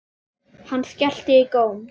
Hann skellti í góm.